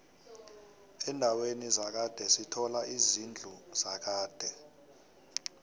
endaweni zakhade sithola izidlu zakade